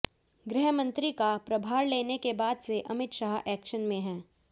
गृहमंत्री का प्रभार लेने के बाद से अमित शाह एक्शन में हैं